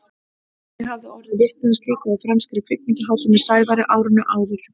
Ég hafði orðið vitni að slíku á franskri kvikmyndahátíð með Sævari árinu áður.